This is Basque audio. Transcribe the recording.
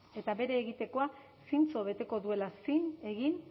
eta bere egitekoa zintzo beteko duela zin egin